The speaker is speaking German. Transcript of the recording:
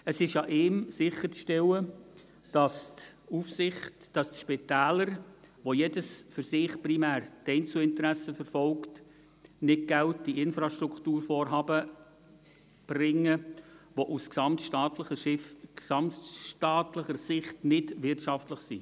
Es ist an ihm, sicherzustellen, dass die Spitäler, das jedes für sich primär Einzelinteressen verfolgt, nicht Geld in Infrastrukturvorhaben stecken, die aus gesamtstaatlicher Sicht nicht wirtschaftlich sind.